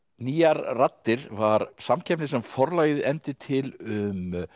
nýjar raddir var samkeppni sem Forlagið efndi til um